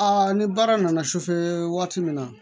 ni baara nana waati min na